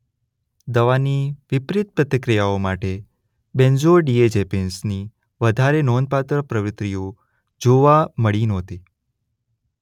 દવાની વિપરિત પ્રતિક્રિયાઓ માટે બેન્ઝોડિએઝેપિન્સની વધારે નોંધપાત્ર પ્રવૃત્તિઓ જોવા મળી નહોતી.